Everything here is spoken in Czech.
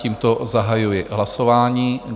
Tímto zahajuji hlasování.